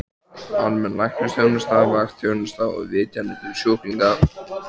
Almenn læknisþjónusta, vaktþjónusta og vitjanir til sjúklinga.